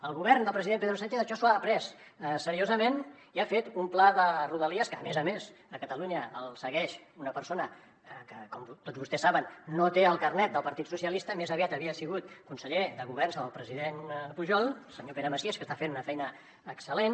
el govern del president pedro sánchez això s’ho ha pres seriosament i ha fet un pla de rodalies que a més a més a catalunya el segueix una persona que com tots vostès saben no té el carnet del partit socialistes més aviat havia sigut conseller de governs del president pujol el senyor pere macias que està fent una feina excel·lent